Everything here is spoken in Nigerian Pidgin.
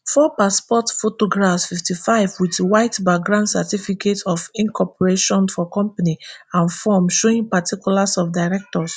four passport photographs fifty-five wit white background certificate of incorporation for company and form showing particulars of directors